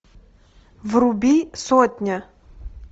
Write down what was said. вруби сотня